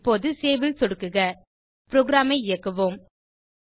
இப்போது சேவ் ல் சொடுக்குக புரோகிராம் ஐ இயக்குவோம்